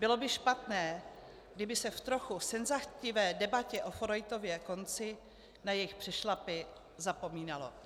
Bylo by špatné, kdyby se v trochu senzacechtivé debatě o Forejtově konci na jejich přešlapy zapomínalo.